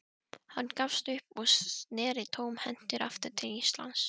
Hann gafst upp og sneri tómhentur aftur til Íslands.